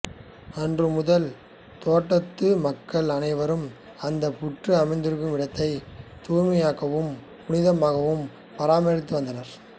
அன்று முதல் தோட்டத்து மக்கள் அணைவரும் அந்த புற்று அமைந்திருக்கும் இடத்தை தூய்மையாகவும் புனிதமாகவும் பராமரித்து வந்தனர்